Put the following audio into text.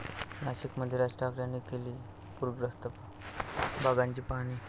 नाशिकमध्ये राज ठाकरेंनी केली पुरग्रस्त भागाची पाहणी